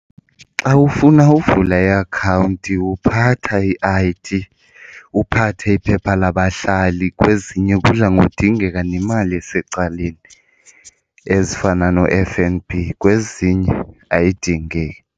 Xa ufuna uvula iakhawunti uphatha i-I_D uphathe iphepha labahlali, kwezinye kudla ngokudinga nemali esecaleni ezifana no-F_N_B kwezinye ayidingeki.